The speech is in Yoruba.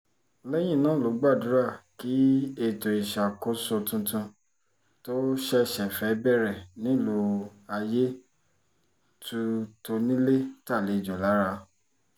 lẹ́yìn náà ló gbàdúrà kí ètò ìṣàkóso tuntun tó ṣẹ̀ṣẹ̀ fẹ́ẹ́ bẹ̀rẹ̀ nílùú ayé tu tónílé tàlejò lára